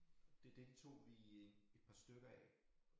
Det deltog vi i et par stykker af